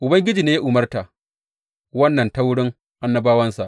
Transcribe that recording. Ubangiji ne ya umarta wannan ta wurin annabawansa.